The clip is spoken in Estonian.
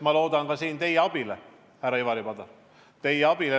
Ma loodan siin ka teie abile, härra Ivari Padar.